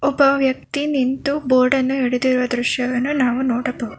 ಒಬ್ಬ ವ್ಯಕ್ತಿ ನಿಂತು ಬೋರ್ಡನ್ನು ಹಿಡಿದಿರುವ ದೃಶ್ಯವನ್ನು ನಾವು ನೋಡಬಹುದು.